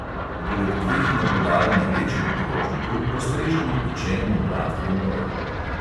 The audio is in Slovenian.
Poleg dveh nabodal na večjem krožniku postrežemo pečen mlad krompir.